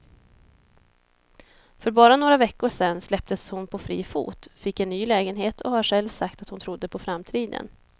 För bara några veckor sedan släpptes hon på fri fot, fick en ny lägenhet och har själv sagt att hon trodde på framtiden.